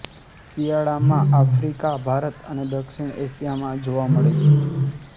શિયાળામાં આફ્રિકાભારત અને દક્ષિણએશિયા માં જોવા મળે છે